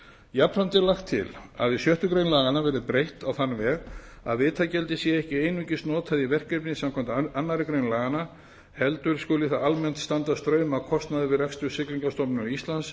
jafnframt er lagt til að sjöttu grein laganna verði breytt á þann veg að vitagjaldið sé ekki einungis notað í verkefni samkvæmt annarri grein laganna heldur skuli það almennt standa straum af kostnaði við rekstur siglingastofnunar íslands